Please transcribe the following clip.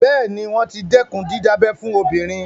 Bẹ́ẹ̀ ni, wọ́n ti dẹ́kun dídábẹ fún obìnrin.